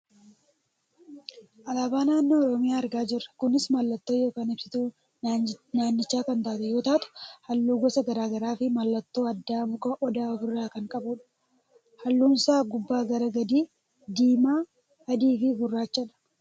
Alaabaa naannoo oromiyaa argaa jirra. Kunis mallattoo yookaan ibsituu naannichaa kan taate yoo taatu, halluu gosa gara garaafi mallattoo addaa muka Odaa of irraa kan qabudha. halluunsaa gubbaa gara gadii; diimaa, adiifi gurraachadha.